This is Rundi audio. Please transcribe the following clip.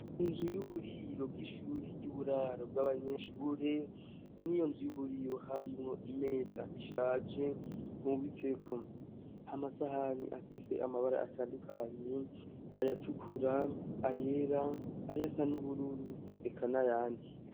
Inzu y'uburiro bw'ishure ry'uburaro bw'abanyeshure n'i yo nzu y'uburiro harimwo imeza ishaje mmubitseko amasahani apise amabara atandukanyi ayatukura ayera aya sa n'ubururu ekana yande.